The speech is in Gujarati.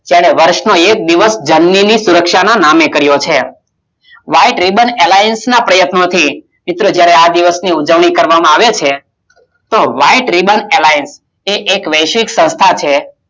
ચાલો વર્ષ નું એક દિવસ જમીન ની સુરક્ષા ના નામે કરીયે છે White Riban Airlines ના પ્રયત્નો થી મિત્રો જયારે આ દિવસની ઉજવણી કરવામાં આવે છે તો વાઈટ White Riban Airlinesva ને એક વૈશ્વિક સંસ્થા છે